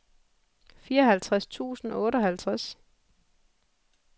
fireoghalvtreds tusind og otteoghalvtreds